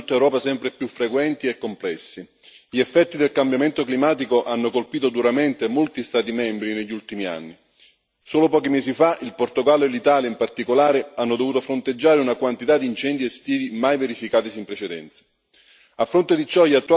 I disastri stanno diventando in tutta Europa sempre più frequenti e complessi. Gli effetti del cambiamento climatico hanno colpito duramente molti Stati membri negli ultimi anni. Solo pochi mesi fa il Portogallo e l'Italia, in particolare, hanno dovuto fronteggiare una quantità di incendi estivi mai verificatasi in precedenza.